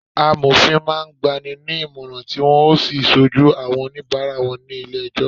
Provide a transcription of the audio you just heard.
Amofin máa ń gba ni ní ìmọ̀ràn, tí wọn ó sì ṣojú àwọn onibara wọn ní ilé ẹjọ́